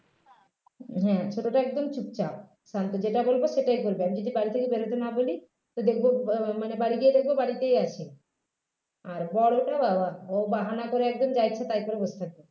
হম ছোটটা একদম চুপচাপ শান্ত যেটা বলব সেটাই বলবে আর যদি বাড়ি থেকে বেরোতে না বলি তা দেখব মানে বাড়ি গিয়ে দেখব বাড়িতে আছে আর বড়োটা বা বা ও বাহানা করে একদম যা ইচ্ছে তাই করে বসে থাকবে